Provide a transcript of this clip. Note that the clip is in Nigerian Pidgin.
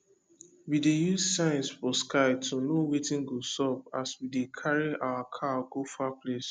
we dey use signs for sky to know wetin go sup as we dey carry our cow go far place